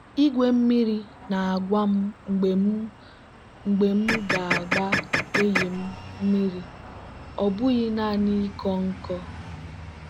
igwe mmiri na-agwa m mgbe m mgbe m ga-agba eyịm m mmiri ọ bụghị naanị ịkọ nkọ.